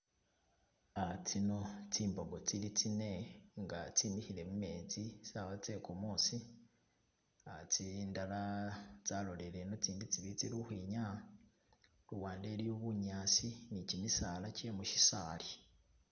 Uh tsino tsi mbogo tsili tsine nga tse mikhile mumetsi saawa tse kumuusi uh tsindala tso lolele ino , itsindi tsibili tsili ukhwinyaya, luwande iliyo bunyasi ne kimisaala che musisaali.